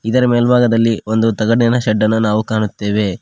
ಇದರ ಮೇಲ್ಭಾಗದಲ್ಲಿ ಒಂದು ತಗಡಿನ ಶೆಡ್ಡನು ನಾವು ಕಾಣುತ್ತೇವೆ.